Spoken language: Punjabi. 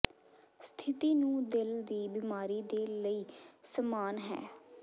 ਸਥਿਤੀ ਨੂੰ ਦਿਲ ਦੀ ਬਿਮਾਰੀ ਦੇ ਲਈ ਸਮਾਨ ਹੈ